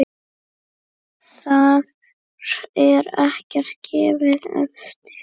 Þar er ekkert gefið eftir.